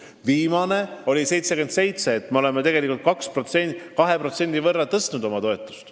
Eelviimane näitaja oli 77%, nii et toetus on 2% võrra suurenenud.